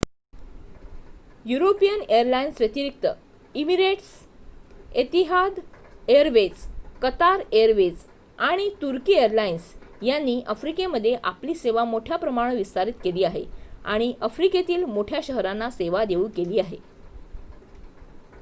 European airlines व्यतिरिक्त Emirates Etihad airways Qatar airways आणि तुर्की एअरलाइन्स यांनी आफ्रिकेमध्ये आपली सेवा मोठ्या प्रमाणावर विस्तारित केली आहे आणि आफ्रिकेतील मोठ्या शहरांना सेवा देऊ केली आहे